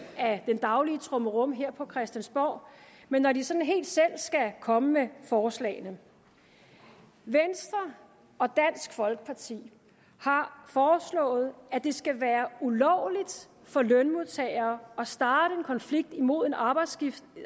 af den daglige trummerum her på christiansborg men når de sådan helt selv skal komme med forslagene venstre og dansk folkeparti har foreslået at det skal være ulovligt for lønmodtagere at starte en konflikt imod en arbejdsgiver